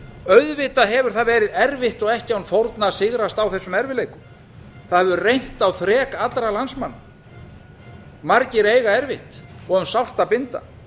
auðvitað hefur það verið erfitt og ekki án fórna að sigrast á þessum erfiðleikum það hefur reynt á þrek allra landsmanna margir eiga erfitt og um sárt að binda